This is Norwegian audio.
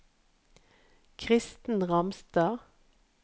Kristen Ramstad